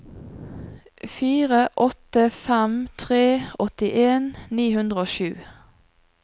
fire åtte fem tre åttien ni hundre og sju